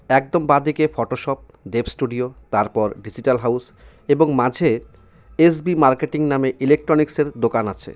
একদম বাঁদিকে Photoshop Dev studio তারপর ডিজিটাল হাউজ এবং মাঝে এস_বি মার্কেটিং নামে ইলেকট্রনিক্সের দোকান আছে।